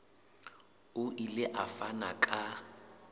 o ile a fana ka